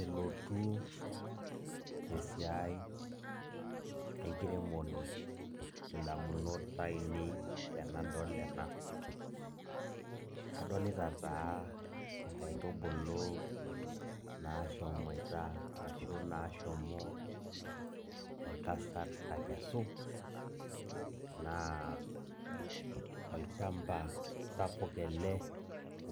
Elotu esiai enkiremore indamunot ainei tenadol ena. Adolita taa nkaitubulu nashomoita arashu nashomo entasat akesu, naa olchamba sapuk ele